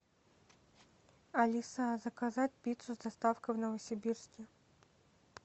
алиса заказать пиццу с доставкой в новосибирске